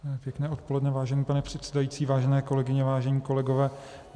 Pěkné odpoledne, vážený pane předsedající, vážené kolegyně, vážení kolegové.